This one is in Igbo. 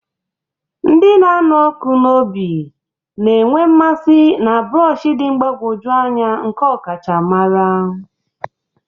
Ndị na-anụ ọkụ n'obi na-enwe mmasị na brush dị mgbagwoju anya nke ọkachamara.